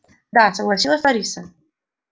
да согласилась лариса